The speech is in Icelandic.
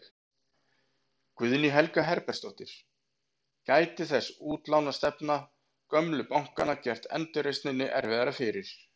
Guðný Helga Herbertsdóttir: Gæti þessi útlánastefna gömlu bankanna gert endurreisninni erfiðara fyrir?